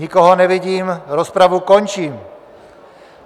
Nikoho nevidím, rozpravu končím.